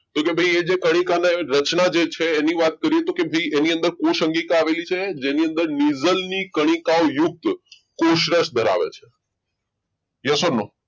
તો એ છે ભાઈ કે કલિકામય રચના જે છે એની વાત કરીએ તો કે ભાઈ એની અંદર કોઈ સંગીત આવેલી છે જેની અંદર નીઝલની connect કોષરસ ધરાવે છે યસ ઓર નો